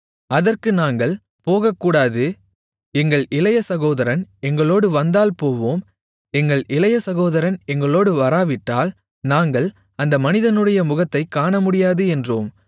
அதற்கு நாங்கள் போகக்கூடாது எங்கள் இளைய சகோதரன் எங்களோடு வந்தால் போவோம் எங்கள் இளைய சகோதரன் எங்களோடு வராவிட்டால் நாங்கள் அந்த மனிதனுடைய முகத்தைக் காணமுடியாது என்றோம்